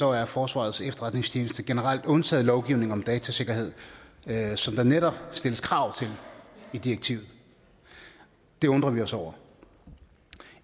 er forsvarets efterretningstjeneste generelt undtaget lovgivning om datasikkerhed som der netop stilles krav til i direktivet det undrer vi os over